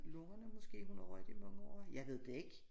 Lungerne måske hun har røget i mange år jeg ved det ik